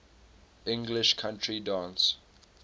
english country dance